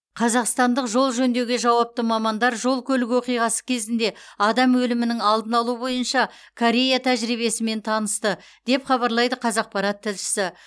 қазақстандық жол жөндеуге жауапты мамандар жол көлік оқиғасы кезінде адам өлімінің алдын алу бойынша корея тәжірибесімен танысты деп хабарлайды қазақпарат тілшісі